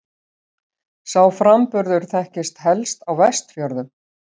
Sá framburður þekktist helst á Vestfjörðum.